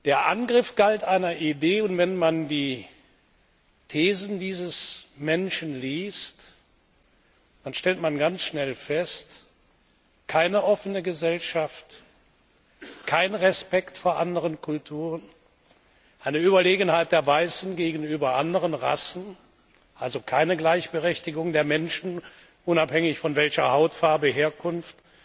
Der Angriff galt einer Idee, und wenn man die Thesen dieses Menschen liest, dann stellt man ganz schnell fest keine offene Gesellschaft, kein Respekt vor anderen Kulturen, eine Überlegenheit der Weißen gegenüber anderen Rassen, also keine Gleichberechtigung der Menschen unabhängig von Hautfarbe, Herkunft,